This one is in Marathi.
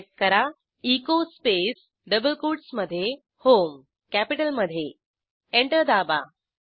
टाईप करा एचो स्पेस डबल कोटसमधे होम कॅपिटलमधे एंटर दाबा